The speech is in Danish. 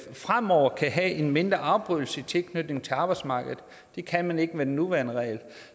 fremover kan have en mindre afbrydelse i tilknytningen til arbejdsmarkedet det kan man ikke med den nuværende regel